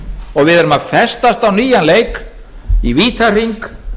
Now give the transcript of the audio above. og við erum að festast á nýjan leik í vítahring